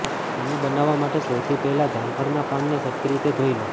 તેને બનાવવા માટે સૌથી પહેલાં જામફળના પાનને સરખી રીતે ધોઈ લો